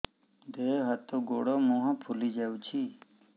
ଦେହ ହାତ ଗୋଡୋ ମୁହଁ ଫୁଲି ଯାଉଛି